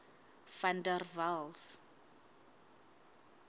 van der waals